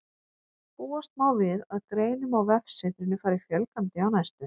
Búast má við að greinum á vefsetrinu fari fjölgandi á næstunni.